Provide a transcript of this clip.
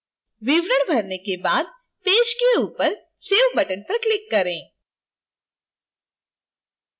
विवरण भरने के बाद पेज के ऊपर save button पर click करें